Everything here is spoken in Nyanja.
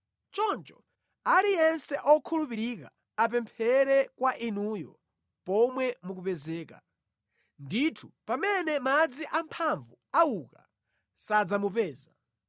Choncho aliyense okhulupirika apemphere kwa Inuyo pomwe mukupezeka; ndithu pamene madzi amphamvu auka, sadzamupeza.